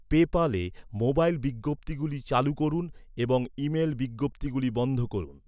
পেপ্যালে mobile বিজ্ঞপ্তিগুলি চালু করুন, এবং ইমেল বিজ্ঞপ্তিগুলি বন্ধ করুন।